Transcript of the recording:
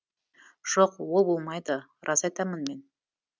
жоқ ол болмайды рас айтамын мен